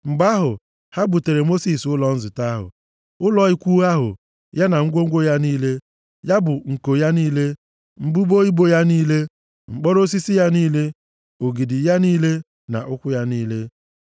Mgbe ahụ, ha buteere Mosis ụlọ nzute ahụ: ụlọ ikwu ahụ ya na ngwongwo ya niile, ya bụ nko ya niile, mbudo ibo ya niile, mkpọrọ osisi ya niile, ogidi ya niile na ụkwụ ya niile,